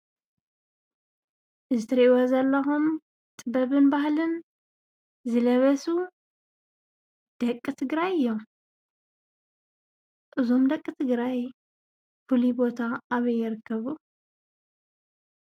እዚ ትሪእይዎ ዘለኩም ጥበብን ባህሊን ዝለበሱ ደቂ ትግራይ እዮም፡፡ እዞም ደቂ ትግራይ ፍሉይ ቦታ አበይ ይርከቡ?